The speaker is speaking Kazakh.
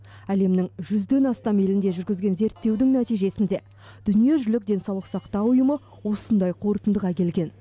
әлемнің жүзден астам елінде жүргізген зерттеудің нәтижесінде дүниежүзілік денсаулық сақтау үйымы осындай қорытындыға келген